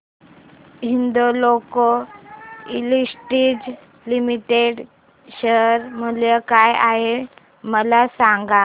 Hindalco industries limited share मूल्य काय आहे मला सांगा